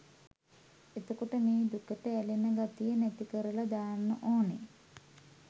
එතකොට මේ දුකට ඇලෙන ගතිය නැතිකරල දාන්න ඕනෙ